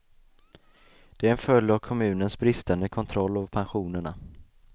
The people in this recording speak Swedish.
Det är en följd av kommunens bristande kontroll av pensionerna.